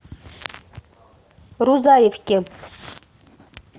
рузаевке